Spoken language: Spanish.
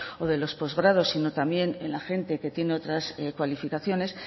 o de los postgrados sino también en la gente que tiene otras cualificaciones